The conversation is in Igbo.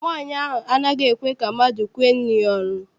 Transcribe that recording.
Nwaanyi a anaghị ekwe ka mmadụ kwee nri ya ọnụ.